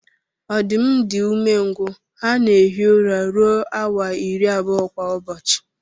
Ọdụm di umengwụ ha na ehi ụra rụọ awa iri abụọ kwa ụbọchi.